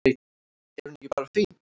Er hún ekki bara fín?